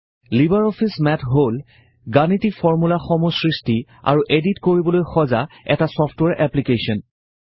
Libre Office Math হল গাণিতিক ফৰ্মূলাসমূহ সৃষ্টি আৰু এডিট কৰিবলৈ সজাঁ এটা ছফ্টৱেৰ এপ্লিকেশ্বন